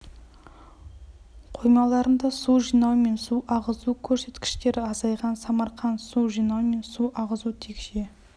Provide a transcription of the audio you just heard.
қоймаларында су жинау мен су ағызу көрсеткіштері азайған самарқанд су жинау мен су ағызу текше